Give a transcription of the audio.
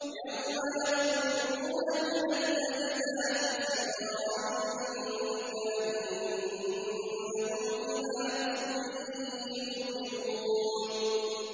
يَوْمَ يَخْرُجُونَ مِنَ الْأَجْدَاثِ سِرَاعًا كَأَنَّهُمْ إِلَىٰ نُصُبٍ يُوفِضُونَ